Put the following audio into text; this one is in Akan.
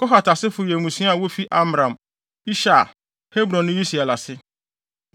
Kohat asefo yɛ mmusua a wofi Amram, Ishar, Hebron ne Usiel ase.